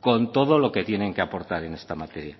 con todo lo que tienen que aportar en esta materia